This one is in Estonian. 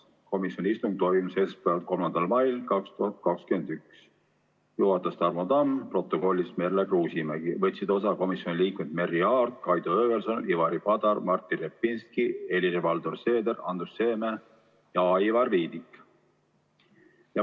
Komisjoni istung toimus esmaspäeval, 3. mail 2021, juhatas Tarmo Tamm, protokollis Merle Kruusimägi, osa võtsid veel komisjoni liikmed Merry Aart, Kaido Höövelson, Ivari Padar, Martin Repinski, Helir-Valdor Seeder, Andrus Seeme ja Aivar Viidik.